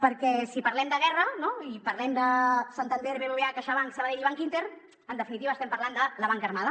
perquè si parlem de guerra no i parlem de santander bbva caixabank sabadell i bankinter en definitiva estem parlant de la banca armada